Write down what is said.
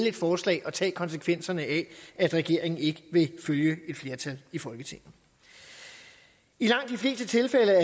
et forslag og tage konsekvenserne af at regeringen ikke vil følge et flertal i folketinget i langt de fleste tilfælde